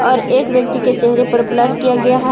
और एक व्यक्ति के चेहरे पर ब्लर किया गया है।